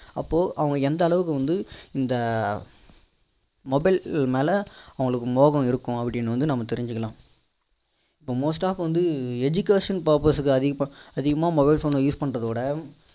அப்போ அவங்க எந்த அளவுக்கு வந்து இந்த mobiles மேல அவங்களுக்கு மோகம் இருக்குன்னு நம்ம தெரிஞ்சிக்கலாம் இப்போ most டா வந்து education purpose ல use பண்ணறத விட